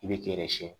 I bɛ t'i yɛrɛ siɲɛ